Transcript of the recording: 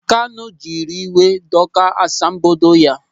Kanụ jiri iwe dọkaa asambodo ya.